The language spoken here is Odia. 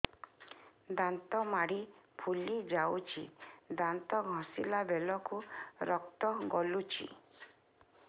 ଦାନ୍ତ ମାଢ଼ୀ ଫୁଲି ଯାଉଛି ଦାନ୍ତ ଘଷିଲା ବେଳକୁ ରକ୍ତ ଗଳୁଛି